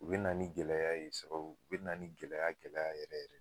U bɛna ni gɛlɛya ye sababu, u bɛna ni gɛlɛya gɛlɛya yɛrɛ yɛrɛ ye